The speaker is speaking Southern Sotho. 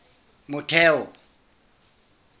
motheo